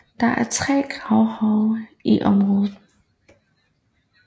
Der er tre gravhøje i området